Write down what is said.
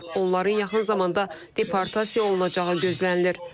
Onların yaxın zamanda deportasiya olunacağı gözlənilir.